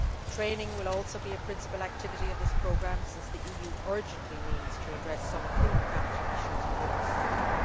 Training will also be a principle activity of this programme, since the EU urgently needs to address some human capital issues within this sector.